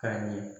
Ka ɲɛ